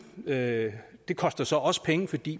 det det koster så også penge fordi